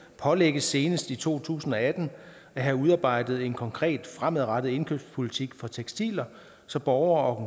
pålægges senest i to tusind og atten at have udarbejdet en konkret fremadrettet indkøbspolitik for tekstiler så borgere